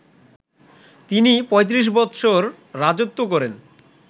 তিনি ৩৫ বৎসর রাজত্ব করেন